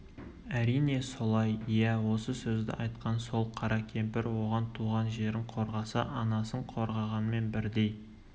әрине солай иә осы сөзді айтқан сол қара кемпір оған туған жерін қорғаса анасын қорғағанмен бірдей